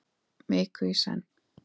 Viku í senn.